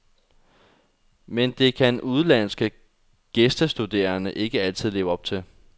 Men det kan udenlandske gæstestuderende ikke altid leve op til.